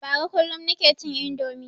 Bara kullum nike cin indomi